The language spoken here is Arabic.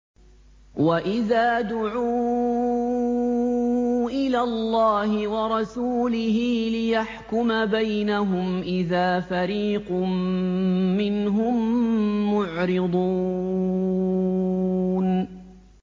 وَإِذَا دُعُوا إِلَى اللَّهِ وَرَسُولِهِ لِيَحْكُمَ بَيْنَهُمْ إِذَا فَرِيقٌ مِّنْهُم مُّعْرِضُونَ